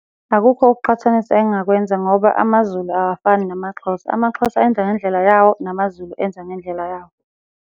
Akukho ukuqhathanisa engingakwenza ngoba amaZulu awafani namaXhosa, amaXhosa enza ngendlela yawo, namaZulu enza ngendlela yawo.